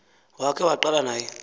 wakhe waqala naye